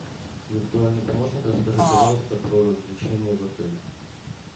виртуальный помощник расскажи пожалуйста про развлечения в отеле